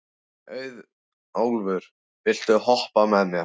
Auðólfur, viltu hoppa með mér?